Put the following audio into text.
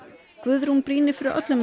Guðrún brýnir fyrir öllum að